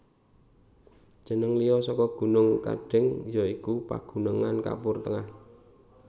Jeneng liya saka gunung Kendeng ya iku Pagunungan Kapur Tengah